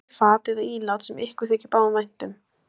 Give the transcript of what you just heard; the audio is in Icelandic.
Hellið í fat eða ílát sem ykkur þykir báðum vænt um.